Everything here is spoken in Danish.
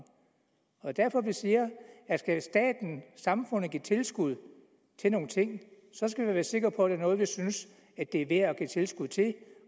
og derfor vi siger at skal staten samfundet give tilskud til nogle ting så skal vi være sikre på er noget vi synes er værd at give tilskud til